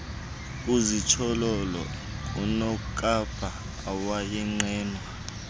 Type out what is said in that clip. kuzitsholololo kunokapa owayenqenwa